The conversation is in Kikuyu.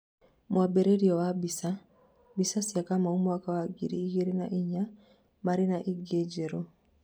mwambĩririo wa mbica, mbica cia Kamau mwaka wa ngiri igĩrĩ na inya marĩ na ingĩ njerũ